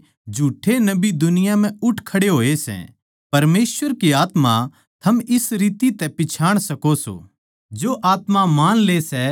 परमेसवर की आत्मा थम इस रीति तै पिच्छाण सको सों जो आत्मा मान ले सै के यीशु मसीह देह धारण करकै आया सै वो परमेसवर की ओड़ तै सै